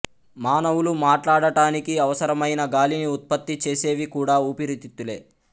మానవులు మాట్లాడటానికి అవసరమైన గాలిని ఉత్పత్తి చేసేవి కూడా ఊపిరితిత్తులే